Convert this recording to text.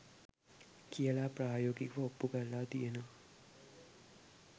කියලා ප්‍රයෝගිකව ඔප්පු කරලා තියෙනව්